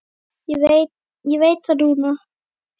Ég veit það núna.